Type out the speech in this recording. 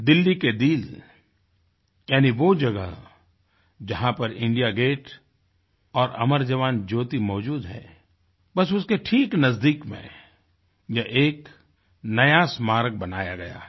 दिल्ली के दिल यानि वो जगह जहाँ पर इंडिया गेट और अमर जवान ज्योति मौजूद है बस उसके ठीक नज़दीक में ये एक नया स्मारक बनाया गया है